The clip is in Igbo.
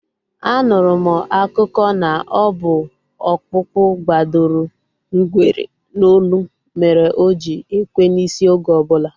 A nụrụ m akụkọ na ọ bụ ọkpụkpu gbadoro ngwere n'olu mere o ji ekwe n'isi oge obula